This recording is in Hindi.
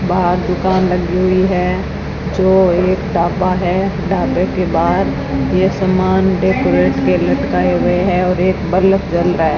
बाहर दुकान लगी हुई है जो एक ढाबा है ढाबे के बाहर यह सामान डेकोरेट के लटकाए हुए है और एक बल्ब जल रहा है।